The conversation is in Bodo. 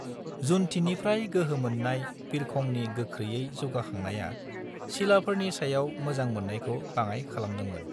जुनथिनिफ्राय गोहो मोन्नाय बिरखंनि गोख्रैयै जौगाखांनाया सिलाफोरनि सायाव मोजां मोन्नायखौ बाङाय खालामदोंमोन।